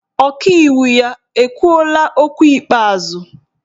Ọkaiwu ya ekwuola okwu ikpeazụ?